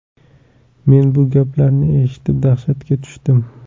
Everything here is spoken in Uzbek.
Men bu gaplarni eshitib, dahshatga tushdim.